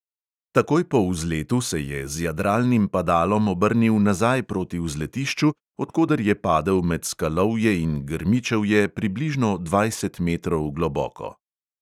Takoj po vzletu se je z jadralnim padalom obrnil nazaj proti vzletišču, od koder je padel med skalovje in grmičevje, približno dvajset metrov globoko.